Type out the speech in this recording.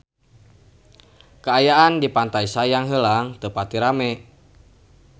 Kaayaan di Pantai Sayang Heulang teu pati rame